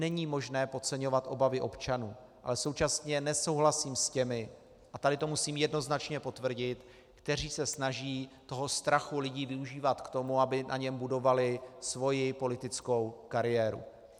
Není možné podceňovat obavy občanů, ale současně nesouhlasím s těmi, a tady to musím jednoznačně potvrdit, kteří se snaží toho strachu lidí využívat k tomu, aby na něm budovali svoji politickou kariéru.